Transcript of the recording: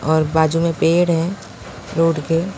और बाजू में पेड़ हैं रोड के --